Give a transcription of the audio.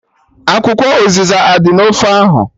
Akwụkwọ ụzịza adị na ofe ahụ?